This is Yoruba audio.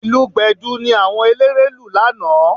Ìlù Gbẹ̀du ni àwọn eléré lù lánàá